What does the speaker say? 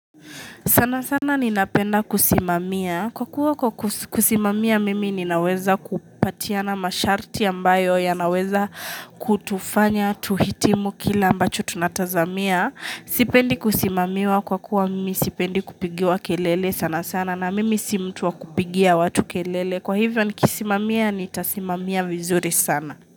Sana sana ni napenda kusimamia. Kwa kuwa kwa kusimamia mimi ninaweza kupatiana masharti ambayo yanaweza kutufanya, tuhitimu kile ambacho tunatazamia. Sipendi kusimamiwa kwa kuwa mimi sipendi kupigiwa kelele sana sana na mimi si mtu wa kupigia watu kelele. Kwa hivyo nikisimamia nitasimamia vizuri sana.